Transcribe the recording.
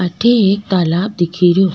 अठे एक तालाब दिख रो।